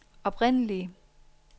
oprindelige